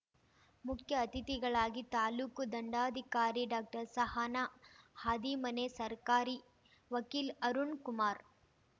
ಮುಖ್ಯ ಅತಿಥಿಗಳಾಗಿ ತಾಲೂಕು ದಂಡಾಧಿಕಾರಿ ಡಾಕ್ಟರ್ಸಹನಾ ಹಾದಿಮನಿ ಸರ್ಕಾರಿ ವಕೀಲ್ ಅರುಣ್‌ ಕುಮಾರ್‌